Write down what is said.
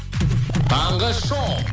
таңғы шоу